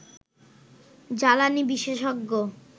জ্বালানি বিশেষজ্ঞ